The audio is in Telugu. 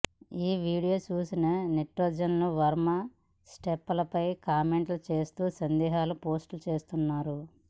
ఈ వీడియో చూసిన నెటిజన్లు వర్మ స్టెప్పులపై కామెంట్లు చేస్తూ సందేశాలు పోస్ట్ చేస్తున్నారు